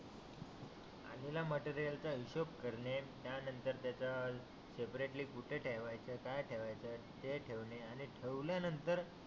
आलेल्या मटेरियल चा हिशोभ करणे त्यानंतर त्याचा सेपरेटली कुठे ठेवायचा आहे काय ठेवायच आहे ते ठेवणे आणि ठेवल्या नंतर